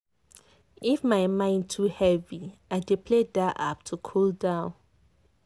if my mind too heavy i play that app to cool down.